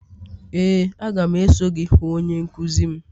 ee, a ga m eso gị hụ onye nkuzi m.